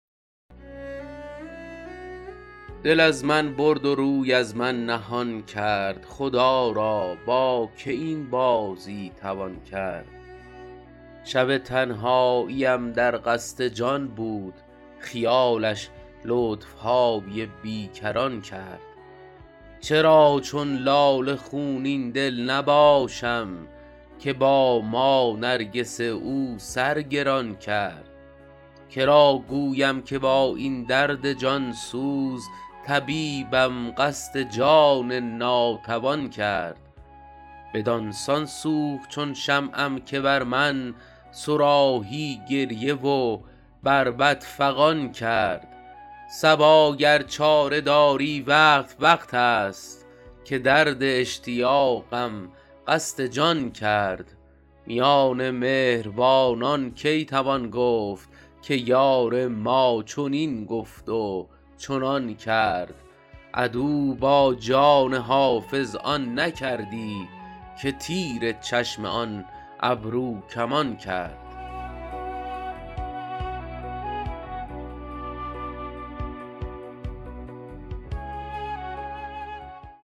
دل از من برد و روی از من نهان کرد خدا را با که این بازی توان کرد شب تنهاییم در قصد جان بود خیالش لطف های بی کران کرد چرا چون لاله خونین دل نباشم که با ما نرگس او سر گران کرد که را گویم که با این درد جان سوز طبیبم قصد جان ناتوان کرد بدان سان سوخت چون شمعم که بر من صراحی گریه و بربط فغان کرد صبا گر چاره داری وقت وقت است که درد اشتیاقم قصد جان کرد میان مهربانان کی توان گفت که یار ما چنین گفت و چنان کرد عدو با جان حافظ آن نکردی که تیر چشم آن ابروکمان کرد